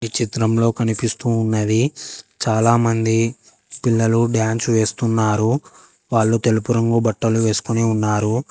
ఈ చిత్రంలో కనిపిస్తూ ఉన్నది చాలా మంది పిల్లలు డాన్స్ వేస్తున్నారు వాళ్ళు తెలుపు రంగు బట్టలు వేసుకొని ఉన్నారు.